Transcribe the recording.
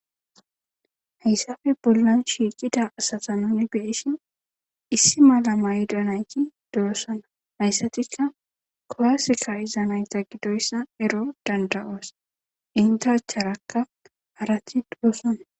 hayssafe bollan shiiqida asata nuni beishin issi malama yidanayki duossana hayssatikka kolaseka izanayta gidoyssa ero danda7oos intacharakka harati doossana